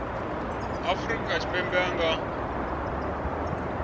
wa afrika tshipembe a nga